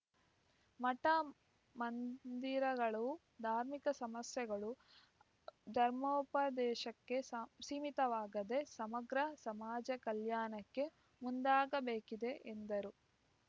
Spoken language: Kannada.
ಮಠ ಮಂದಿರಗಳು ಧಾರ್ಮಿಕ ಸಂಸ್ಥೆಗಳು ಧರ್ಮೋಪದೇಶಕ್ಕೆ ಸಾ ಸೀಮಿತವಾಗದೆ ಸಮಗ್ರ ಸಮಾಜ ಕಲ್ಯಾಣಕ್ಕೆ ಮುಂದಾಗಬೇಕಿದೆ ಎಂದರು